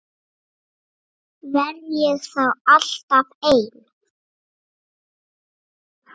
Verð ég þá alltaf ein?